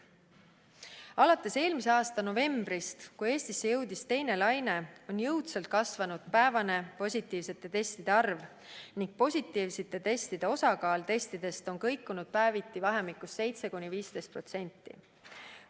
Alates eelmise aasta novembrist, kui Eestisse jõudis teine laine, on jõudsalt kasvanud päevane positiivsete testide arv ning positiivsete testide osakaal testides on kõikunud päeviti vahemikus 7–15%.